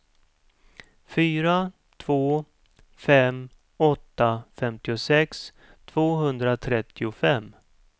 fyra två fem åtta femtiosex tvåhundratrettiofem